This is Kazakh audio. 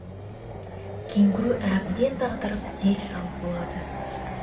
кенгуру әбден дағдарып дел сал болады